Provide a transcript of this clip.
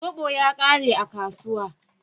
Zobo ya ƙare a kasuwa.